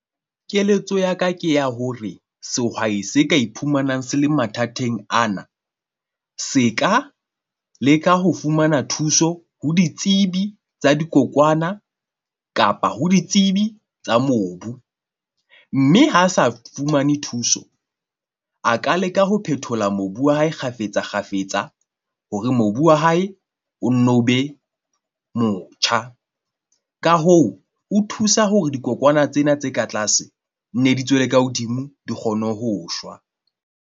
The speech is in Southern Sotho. Keletso ya ka ke ya hore sehwai se ka iphumanang se le mathateng ana se ka leka ho fumana thuso ho ditsebi tsa dikokwana kapa ho ditsebi tsa mobu. Mme ha sa fumane thuso, a ka leka ho phethola mobu wa hae kgafetsa kgafetsa hore mobu wa hae o nno be motjha. Ka hoo, o thusa hore dikokwana tsena tse ka tlase nne di tswele ka hodimo, di kgone ho shwa.